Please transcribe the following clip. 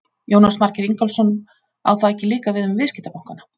Jónas Margeir Ingólfsson: Á það ekki líka við um viðskiptabankana?